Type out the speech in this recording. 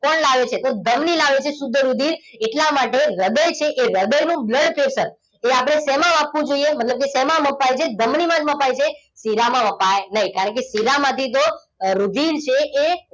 કોણ લાવે છે તો ધમની લાવે છે શુદ્ધ રુધિર. એટલા માટે હૃદય છે એ હૃદયનું blood pressure એ આપણે શેમાં માપવું જોઈએ? મતલબ શેમાં મપાય છે? એ ધમનીમાં મપાય છે. શિરામાં મપાય નહીં. કારણકે શીરામાં તો રુધિર છે એ,